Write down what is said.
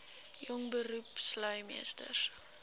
jong beroepslui meesters